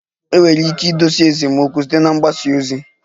Enwere ike idozi esemokwu site na mgbasa ozi